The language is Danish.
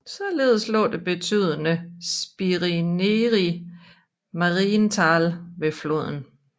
Således lå det betydende Spinnerie Marienthal ved floden